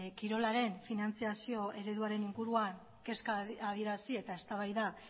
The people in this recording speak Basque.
kirolaren finantziazio ereduaren inguruan kezka adierazi eta eztabaida